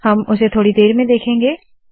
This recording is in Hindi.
हम उसे थोड़ी देर में देखेंगे